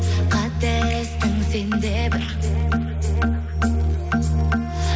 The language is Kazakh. қателестің сен де бір